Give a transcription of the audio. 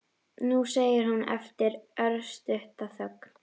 Nú, segir hún eftir örstutta þögn.